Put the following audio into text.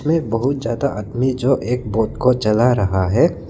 बहुत ज्यादा आदमी जो एक बोट को चला रहा है।